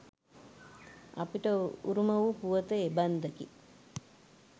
අපට උරුම වූ පුවත එබන්දකි.